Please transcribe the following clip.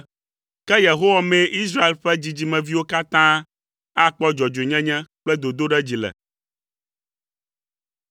Ke Yehowa mee Israel ƒe dzidzimeviwo katã akpɔ dzɔdzɔenyenye kple dodoɖedzi le.